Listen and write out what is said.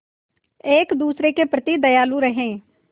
एक दूसरे के प्रति दयालु रहें